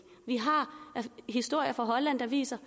vi har historier fra holland der viser